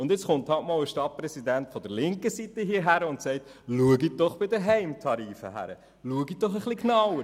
Jetzt kommt halt für einmal ein Stadtpräsident der linken Seite und fordert Sie auf, bei den Heimtarifen genauer hinzusehen.